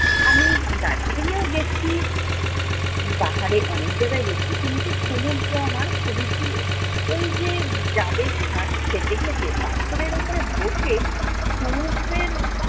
আমি দার্জিলিং এও গেছি, পাহাড়ে অনেক জায়গায় গেছি। কিন্তু সমুদ্র আমার খুবই প্রিয়। ওইযে ডাবের শাস খেতে খেতে পাথরের উপর বসে সমুদ্রের